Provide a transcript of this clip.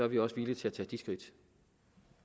vi også villige til at tage de skridt